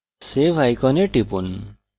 save icon টিপুন